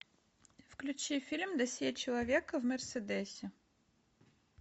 включи фильм досье человека в мерседесе